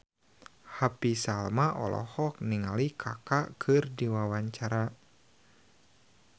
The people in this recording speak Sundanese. Happy Salma olohok ningali Kaka keur diwawancara